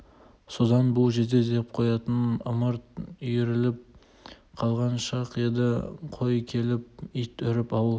содан бұл жезде деп ойнайтын ымырт үйіріліп қалған шақ еді қой келіп ит үріп ауыл